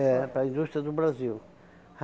É, para a indústria do Brasil.